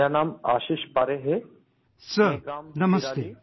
"Sir, Namaste